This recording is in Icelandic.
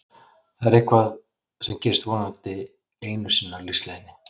Það er eitthvað sem gerist vonandi einu sinni á lífsleiðinni.